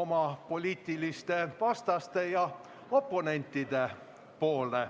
oma poliitilistele vastastele ja oponentidele.